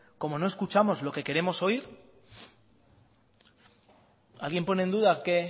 como no escuchamos lo que queremos oír alguien pone en duda que